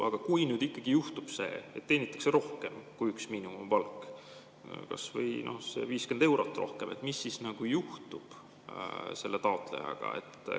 Aga kui nüüd juhtub see, et teenitakse rohkem kui üks miinimumpalk, kas või 50 eurot rohkem, mis siis juhtub selle taotlejaga?